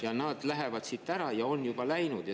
… ja nad lähevad siit ära, ja on juba läinud.